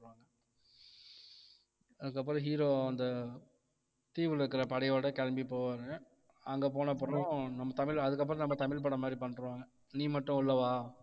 அதுக்கப்புறம் hero அந்த தீவுல இருக்குற படையோட கிளம்பி போவாங்க அங்க போனப்புறம் நம்ம தமிழ் அதுக்கப்புறம் நம்ம தமிழ் படம் மாதிரி பண்ணிடுவாங்க நீ மட்டும் உள்ள வா